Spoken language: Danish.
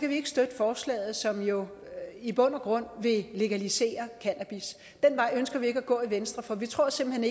vi ikke støtte forslaget som jo i bund og grund vil legalisere cannabis den vej ønsker vi ikke at gå i venstre for vi tror simpelt